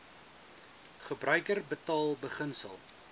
gebruiker betaal beginsel